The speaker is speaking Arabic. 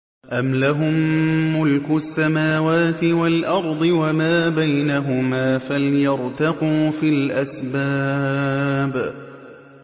أَمْ لَهُم مُّلْكُ السَّمَاوَاتِ وَالْأَرْضِ وَمَا بَيْنَهُمَا ۖ فَلْيَرْتَقُوا فِي الْأَسْبَابِ